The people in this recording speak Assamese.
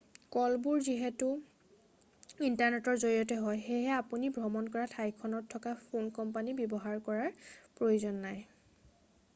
কলবোৰ যিহেতু ইণ্টাৰনেটৰ জৰিয়তে কৰা হয় সেয়ে আপুনি ভ্ৰমণ কৰা ঠাইখনত থকা ফোন কোম্পানী ব্যৱহাৰ কৰাৰ প্ৰয়োজন নাই